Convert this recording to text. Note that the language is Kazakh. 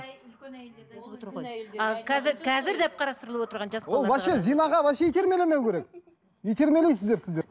ол вообще зинаға вообще итермелемеу керек итермелейсіздер сіздер